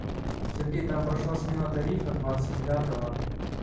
сергей там прошла смена тарифа двадцать девятого